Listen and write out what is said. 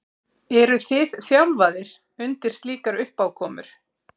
Eruð þið þjálfaðir undir slíkar uppákomur?